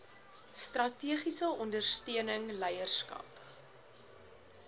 strategiese ondersteuning leierskap